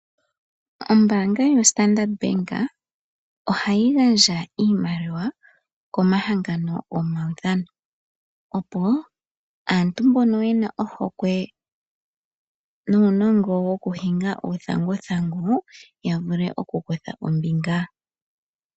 Ombaanga yo standard Bank oh yi gandja iimaliwa komahangano gomaudhano, opo asntu mbono yena ohokwe nuunongo wokuhinga uuthanguthangu, ya vule oku kutha ombinga.